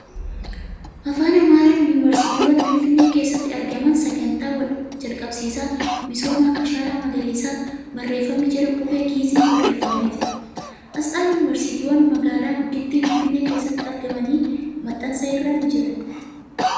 Afaan Amaaraan ' Yuunivarsiitiiwwan Finfinnee keessatti argaman sagantaa jalqabsiisa misooma ashaaraa magariisaa ' barreeeffamni jedhu qubee Gi'iiziin barreeffamee jira. Asxaan yuunivarsiitiiwwanii magaala gudditti Finfinnee keessatti argamanii maxxansa irra ni jiran